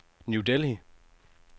New Delhi